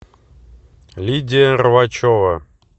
лидия рвачева